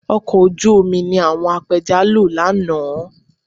Ọkọ̀ ojú omi ni àwọn apẹja lo lánàá